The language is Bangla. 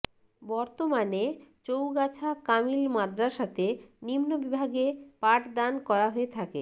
বর্তমানে চৌগাছা কামিল মাদ্রাসাতে নিম্ন বিভাগে পাঠদান করা হয়ে থাকে